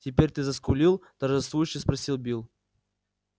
теперь ты заскулил торжествующе спросил билл